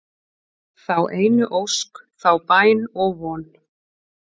þá einu ósk, þá bæn og von